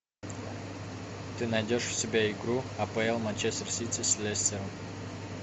ты найдешь у себя игру апл манчестер сити с лестером